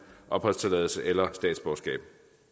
opholdstilladelse eller statsborgerskab